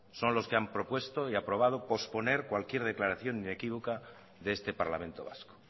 son los que han propuesto y aprobado posponer cualquier declaración inequívoca de este parlamento vasco